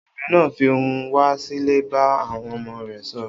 Obìnrin náà fi ohùn wá sílẹ̀ bá àwọn ọmọ rẹ̀ sọ̀rọ̀.